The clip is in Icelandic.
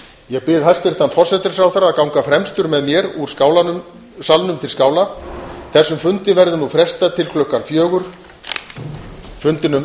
ég bið hæstvirtan forsætisráðherra að ganga fremstur með mér úr salnum til skála þessum fundi verður nú frestað til klukkan sextán